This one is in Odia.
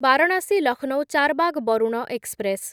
ବାରଣାସୀ ଲକ୍ଷ୍ନୌ ଚାରବାଗ ବରୁଣ ଏକ୍ସପ୍ରେସ୍‌